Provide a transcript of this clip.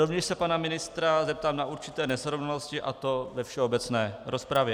Rovněž se pana ministra zeptám na určité nesrovnalosti, a to ve všeobecné rozpravě.